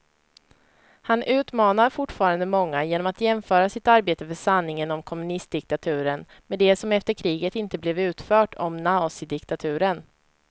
Han utmanar fortfarande många genom att jämföra sitt arbete för sanningen om kommunistdiktaturen med det som efter kriget inte blev utfört om nazidiktaturen.